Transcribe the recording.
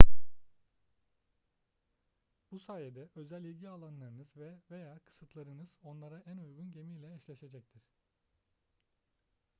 bu sayede özel ilgi alanlarınız ve/veya kısıtlarınız onlara en uygun gemiyle eşleşecektir